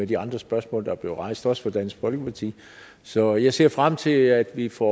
de andre spørgsmål der er blevet rejst også af dansk folkeparti så jeg ser frem til at vi får